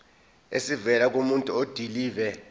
esivela kumuntu odilive